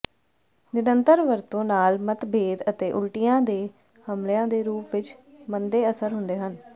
ਨਿਰੰਤਰ ਵਰਤੋਂ ਨਾਲ ਮਤਭੇਦ ਅਤੇ ਉਲਟੀਆਂ ਦੇ ਹਮਲਿਆਂ ਦੇ ਰੂਪ ਵਿੱਚ ਮੰਦੇ ਅਸਰ ਹੁੰਦੇ ਹਨ